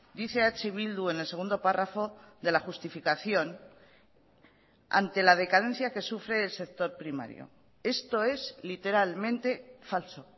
dice eh bildu en el segundo párrafo de la justificación ante la decadencia que sufre el sector primario esto es literalmente falso